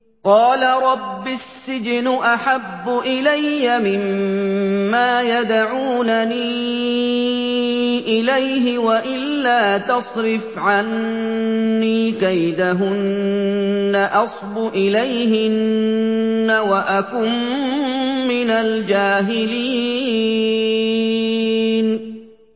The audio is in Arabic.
قَالَ رَبِّ السِّجْنُ أَحَبُّ إِلَيَّ مِمَّا يَدْعُونَنِي إِلَيْهِ ۖ وَإِلَّا تَصْرِفْ عَنِّي كَيْدَهُنَّ أَصْبُ إِلَيْهِنَّ وَأَكُن مِّنَ الْجَاهِلِينَ